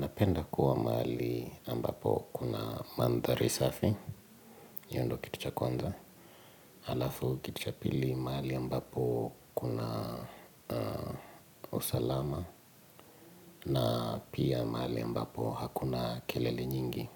Napenda kuwa mahali ambapo kuna mandhari safi, hiyo ndio kituccha kwanza, alafu kitu cha pili mahali ambapo kuna usalama, na pia mahali ambapo hakuna kelele nyingi.